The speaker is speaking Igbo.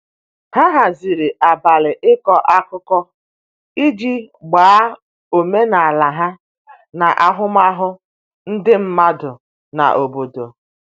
ha haziri abali iko akụkụ iji gbaa omenala ha na ahụmahụ ndi madụ n'obodo